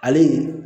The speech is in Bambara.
Ale